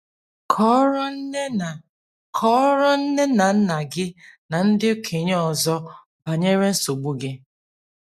Kọọrọ nne na Kọọrọ nne na nna gị na ndị okenye ọzọ banyere nsogbu gị.